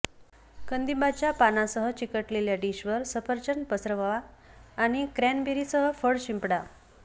कंदिंबाच्या पानांसह चिकटलेल्या डिश वर सफरचंद पसरवा आणि क्रॅनबेरीसह फळ शिंपडा